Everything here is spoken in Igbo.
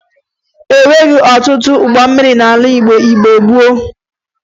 E nweghi ọtụtụ ụgbọ mmiri n'ala Igbo mgbe gboo